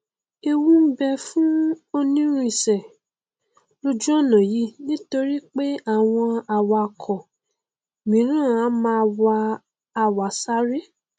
ewu n bẹ fún onírìnsè lójú ọnà yìí nítorípé àwọn awakọ míràn a máa wa àwàsaré